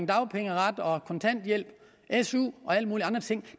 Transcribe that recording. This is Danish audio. dagpengeret og kontanthjælp su og alle mulige andre ting